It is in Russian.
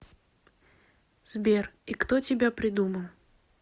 сбер и кто тебя придумал